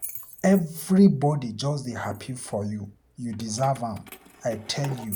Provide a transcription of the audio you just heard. Everybody just dey happy for you. You deserve am, I tell you.